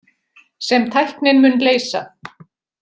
Sem tæknin mun leysa.